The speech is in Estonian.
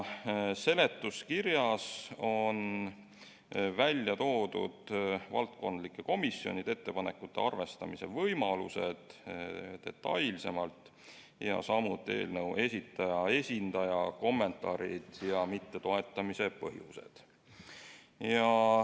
Seletuskirjas on detailsemalt välja toodud valdkondlike komisjonide ettepanekute arvestamise võimalused, samuti eelnõu esitaja esindaja kommentaarid ja mittetoetamise põhjused.